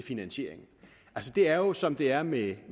finansieringen altså det er jo som det er med